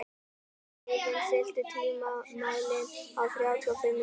Eivin, stilltu tímamælinn á þrjátíu og fimm mínútur.